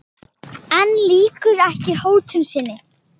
En lýkur ekki hótun sinni.